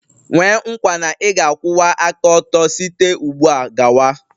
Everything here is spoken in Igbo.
Nwee nkwa na ị ga-akwụwa aka ọtọ site ugbu a gawa?